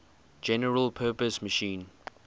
general purpose machine